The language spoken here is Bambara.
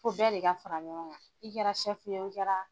Fo bɛɛ de ka fara ɲɔgɔn i kɛra ye o i kɛra